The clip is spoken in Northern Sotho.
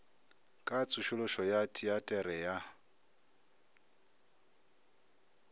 ka tsošološo ya teatere ya